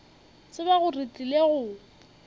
tseba gore re tlile go